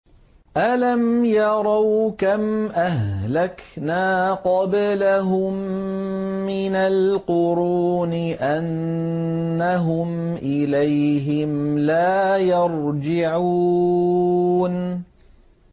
أَلَمْ يَرَوْا كَمْ أَهْلَكْنَا قَبْلَهُم مِّنَ الْقُرُونِ أَنَّهُمْ إِلَيْهِمْ لَا يَرْجِعُونَ